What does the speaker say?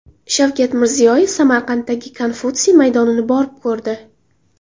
Shavkat Mirziyoyev Samarqanddagi Konfutsiy maydonini borib ko‘rdi.